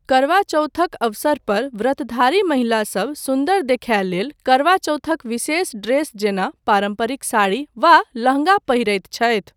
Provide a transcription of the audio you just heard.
करवा चौथक अवसर पर व्रतधारी महिलासब सुन्दर देखाय लेल करवा चौथक विशेष ड्रेस जेना पारम्परिक साड़ी वा लहंगा पहिरैत छथि।